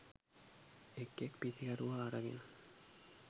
එක් එක් පිතිකරුවා අරගෙන